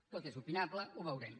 tot és opinable ho veurem